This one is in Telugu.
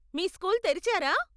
మీ స్కూల్ తెరిచారా?